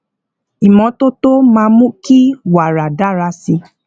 ìmótótó máa mú kí wàrà dára sí